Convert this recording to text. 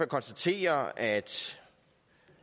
konstatere at